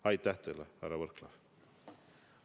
Aitäh teile, härra Võrklaev!